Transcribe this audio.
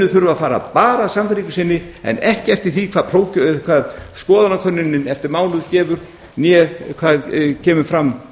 þurfa að fara bara að sannfæringu sinni en ekki eftir því hvað skoðanakönnunin eftir mánuð gefur né hvað kemur fram